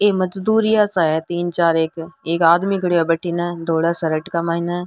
ये मजदूरिया सा है तीन चार एक एक आदमी खड़यो है भटीने थोड़ा सा लटका माइने।